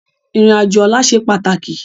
Irin ájó òlà sé pátáki